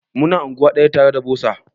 Mu na anguwa daya tare da bosa.